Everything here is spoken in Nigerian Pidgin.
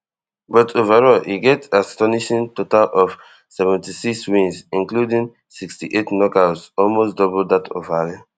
but overall e get astonishing total of seventy-six wins including sixty-eight knockouts almost double dat of ali